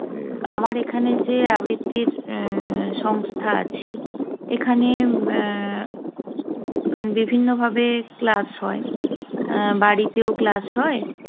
উহ আমার এখানে যে আবৃত্তির উহ সংস্থা আছে, এখানে এর বিভিন্ন ভাবে class হয়। আহ বাড়িতেও class হয়।